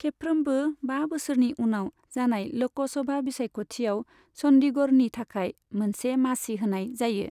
खेबफ्रोमबो बा बोसोरनि उनाव जानाय ल'कसभा बिसायख'थिआव चन्डीगढ़नि थाखाय मोनसे मासि होनाय जायो।